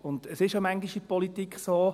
In der Politik ist es manchmal so: